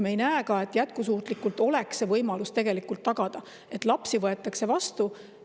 Me ei näe ka, et jätkusuutlikult oleks võimalus tagada, et lapsi võetakse vastu.